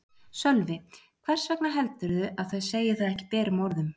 Sölvi: Hvers vegna heldurðu að þau segi það ekki berum orðum?